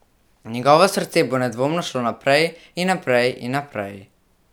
Njegovo srce bo nedvomno šlo naprej, in naprej, in naprej ...